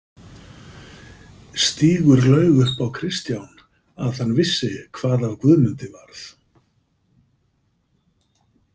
Stígur laug upp á Kristján að hann vissi hvað af Guðmundi varð.